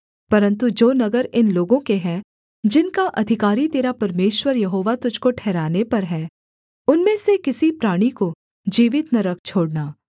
परन्तु जो नगर इन लोगों के हैं जिनका अधिकारी तेरा परमेश्वर यहोवा तुझको ठहराने पर है उनमें से किसी प्राणी को जीवित न रख छोड़ना